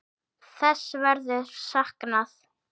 Þess verður saknað.